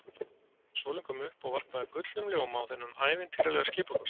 Sólin kom upp og varpaði gullnum ljóma á þennan ævintýralega skipakost.